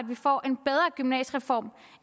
vi får en bedre gymnasiereform